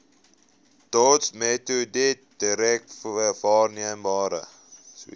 dotsmetode direk waarneembare